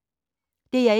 DR1